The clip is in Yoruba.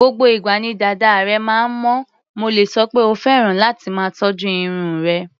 Gbogbo ìgbà ni dàda rẹ̀ máa ń mọ́, mo lè sọ pé ó fẹ́ràn láti máa tọ́jú irun rẹ̀.